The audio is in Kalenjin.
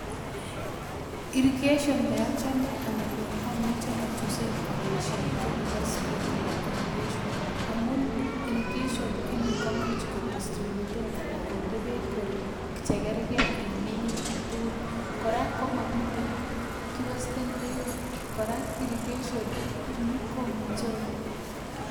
Irrigation neochome anan neamuche achoosen aboisien konebo 'springle' irrigation amun irrigation ini komuch kodistributen anan kondee beek chekerkei en minutik tugul kora komamiten kiwesten beek kora irrigation ini komuche.